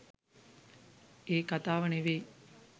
ඒ කතාව නෙවෙයි.